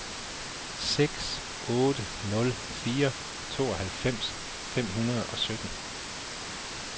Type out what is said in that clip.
seks otte nul fire tooghalvfems fem hundrede og sytten